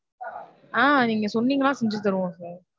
ஆஹ் நீங்க சொன்னீங்கனா செஞ்சு தருவோம் sir.